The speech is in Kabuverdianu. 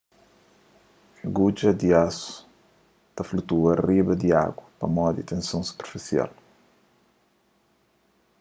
gudja di asu ta flutua riba di agu pamodi tenson superfisial